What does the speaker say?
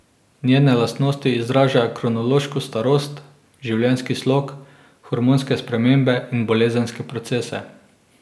Njene lastnosti izražajo kronološko starost, življenjski slog, hormonske spremembe in bolezenske procese.